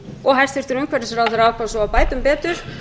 og hæstvirtur umhverfisráðherra ákvað svo að bæta um betur